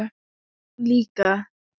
Og hún líka.